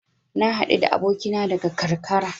Na haɗu da abokina daga karkara.